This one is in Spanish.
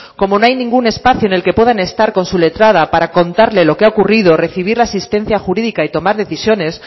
como no hay ningún espacio en el que puedan estar con su letrada para contarle lo que ha ocurrido recibir la asistencia jurídica y tomar decisiones